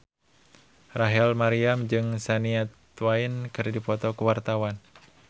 Rachel Maryam jeung Shania Twain keur dipoto ku wartawan